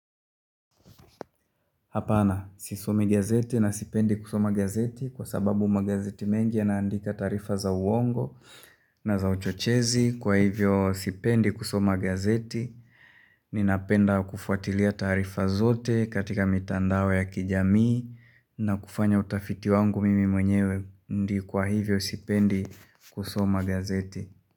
Hapana, sisomi gazeti na sipendi kusoma gazeti kwa sababu magazeti mengi yanaandika taarifa za uongo na za uchochezi kwa hivyo sipendi kusoma gazeti. Ninapenda kufuatilia taarifa zote katika mitandao ya kijamii na kufanya utafiti wangu mimi mwenyewe kwa hivyo sipendi kusoma gazeti.